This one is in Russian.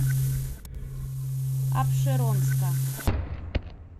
апшеронска